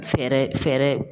Fɛɛrɛ fɛɛrɛ